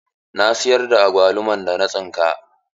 Na siyar da agwaluman da na tsinka.